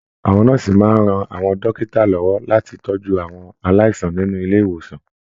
Àwọn nọ́ọ̀sì máa n rán àwọn dókítà lọwọ láti tọjú àwọn aláìsàn nínú ilé ìwòsan.